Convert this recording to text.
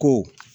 Ko